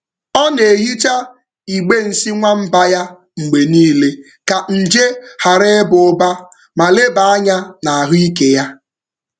Ọ na-ehicha igbe nsị nwamba ya mgbe niile ka nje ghara ịba ụba ma leba anya na ahụike ya.